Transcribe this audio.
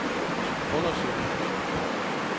undersøge